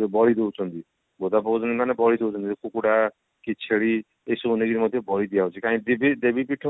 ଯୋଉ ବଳି ଦଉଛନ୍ତି ବୋଦା ପକୋଉ ଛନ୍ତି ମାନେ ବଳି ଦଉଛନ୍ତି କୁକୁଡା କି ଛେଳି ଏସଉ ନେଇକରି ମଧ୍ୟ ବଳି ଦିଆ ଯାଉଛି କାହିଁ କି ଦେବୀ ଦେବୀ ପୀଠ